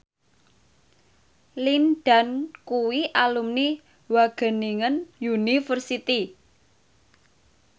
Lin Dan kuwi alumni Wageningen University